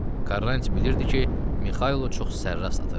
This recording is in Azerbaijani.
Quaranti bilirdi ki, Mixailo çox sərrast atır.